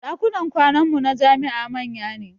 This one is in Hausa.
Ɗakunan kwanan mu na jami'a manya ne